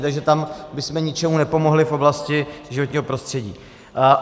Takže tam bychom ničemu nepomohli v oblasti životního prostředí.